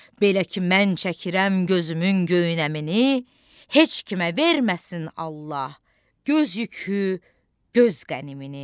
Belə ki mən çəkirəm gözümün göynəmini, heç kimə verməsin Allah göz yükü, göz qənimini.